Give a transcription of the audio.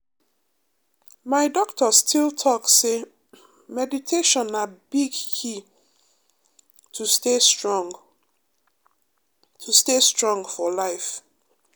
my doctor still talk say meditation na big key to stay strong to stay strong for life.